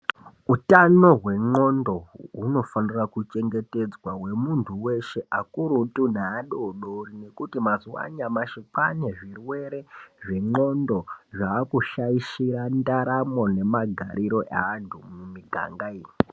Utano hwendxondo hunofanire kuchengetedzwa hwemuntu weshe akurutu neadodori nekuti mazuwa anyamashi, kwaane zvirwere zvendxondo zvaakushaishira ndaramo nemagariro eantu mumigangayi.